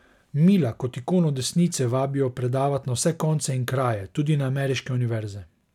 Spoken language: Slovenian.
Mila kot ikono desnice vabijo predavat na vse konce in kraje, tudi na ameriške univerze.